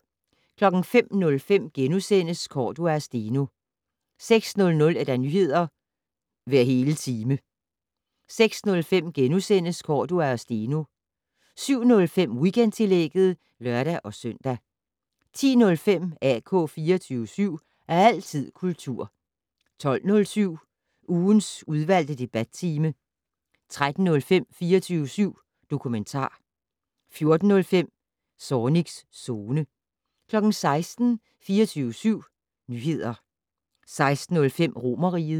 05:05: Cordua og Steno * 06:00: Nyheder hver hele time 06:05: Cordua og Steno * 07:05: Weekendtillægget (lør-søn) 10:05: AK 24syv. Altid kultur 12:07: Ugens udvalgte debattime 13:05: 24syv dokumentar 14:05: Zornigs Zone 16:00: 24syv Nyheder 16:05: Romerriget